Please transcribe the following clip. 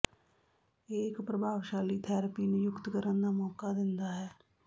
ਇਹ ਇੱਕ ਪ੍ਰਭਾਵਸ਼ਾਲੀ ਥੈਰੇਪੀ ਨਿਯੁਕਤ ਕਰਨ ਦਾ ਮੌਕਾ ਦਿੰਦਾ ਹੈ